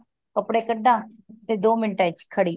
ਕਪੜੇ ਕੱਡਾ ਤੇ ਦੋ ਮਿੰਟਾ ਚ ਖੜੀ